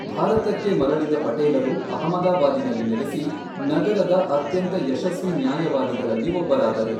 ಭಾರತಕ್ಕೆ ಮರಳಿದ ಪಟೇಲರು ಅಹಮದಾಬಾದಿನಲ್ಲಿ ನೆಲೆಸಿ, ನಗರದ ಅತ್ಯಂತ ಯಶಸ್ವಿ ನ್ಯಾಯವಾದಿಗಳಲ್ಲಿ ಒಬ್ಬರಾದರು.